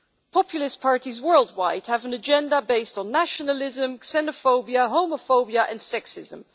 Populist parties worldwide have an agenda based on nationalism, xenophobia, homophobia and sexism.